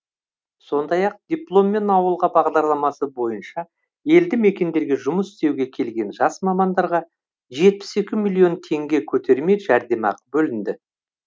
сондай ақ дипломмен ауылға бағдарламасы бойынша елді мекендерге жұмыс істеуге келген жас мамандарға жетпіс екі миллион теңге көтерме жәрдемақы бөлінді